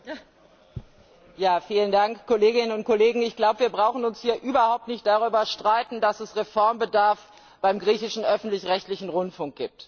Frau Präsidentin, Kolleginnen und Kollegen! Ich glaube, wir brauchen uns hier überhaupt nicht darüber zu streiten, dass es Reformbedarf beim griechischen öffentlich rechtlichen Rundfunk gibt.